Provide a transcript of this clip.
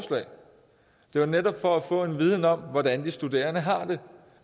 jo netop for få en viden om hvordan de studerende har det